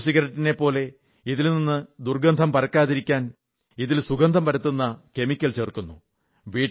മറ്റു സിഗരറ്റിനെപ്പോലെ ഇതിൽ നിന്ന് ദുർഗന്ധം പരക്കാതിരിക്കാൻ ഇതിൽ സുഗന്ധം പരത്തുന്ന കെമിക്കൽ ചേർക്കുന്നു